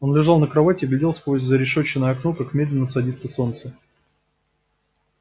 он лежал на кровати и глядел сквозь зарешеченное окно как медленно садится солнце